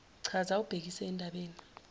chaza ubhekise endabeni